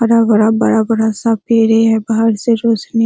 हरा-भरा बड़ा-बड़ा सा पेड़े है बाहर से रोशनी --